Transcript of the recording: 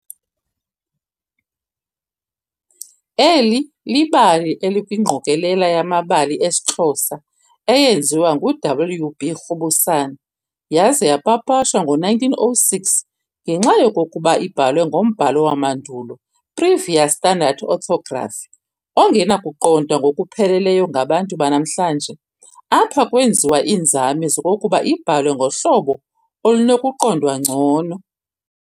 Eli libali elikwingqokolela yamabali esiXhosa eyenziwa ngu-W.B. Rhubusana yaza yapapashwa ngo-1906. Ngenxa yokokuba ibhalwe ngombhalo wamandulo, Previous Standard Orthography, ongenakuqondwa ngokupheleleyo ngabantu banamhlanje, apha kwenziwa iinzame zokokuba ibhalwe ngohlobo olunokuqondwa ngcono.